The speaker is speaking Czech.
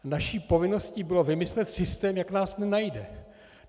Naší povinností bylo vymyslet systém, jak nás nenajde.